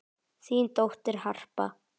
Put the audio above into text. Þín dóttir, Harpa.